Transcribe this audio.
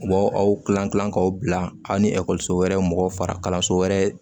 U b'aw aw kilan kilan k'aw bila aw ni ekɔliso wɛrɛ mɔgɔw fara kalanso wɛrɛ